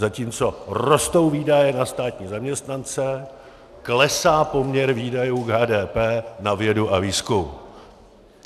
Zatímco rostou výdaje na státní zaměstnance, klesá poměr výdajů k HDP na vědu a výzkum.